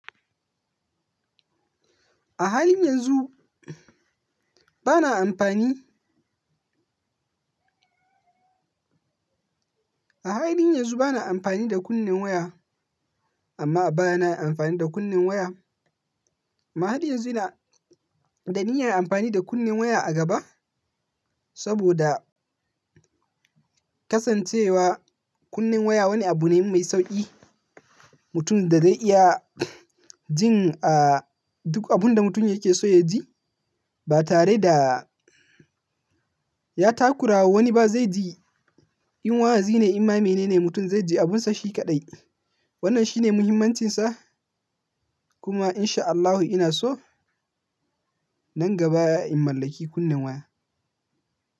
A halin yanzu bana amfani, a halin yanzu bana amfani da kunnen waya amma a baya na yi amfani da kunnen waya. Amma halin yanzu ina da niyyar amfani da kunnen waya a gaba saboda kasancewa kunnen waya wani abu ne mai sauƙi. Mutum da zai iya jin a duk abun da mutum yake so ya ji ba tare da ya takurawa wani ba zai ji in wazi ne, in ma menene mutum zai ji abunsa shi kaɗai. Wannan shine muhimmancinsa kuma in sha Allahu ina so nan gaba in mallaki kunnen waya.